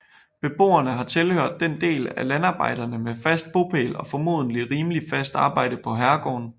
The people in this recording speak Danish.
Beboerne har tilhørt den del af landarbejderne med fast bopæl og formodentlig rimeligt fast arbejde på herregården